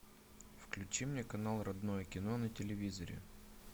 включи мне канал родное кино на телевизоре